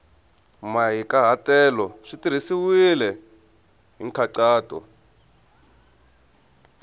mahikahatelo swi tirhisiwile hi nkhaqato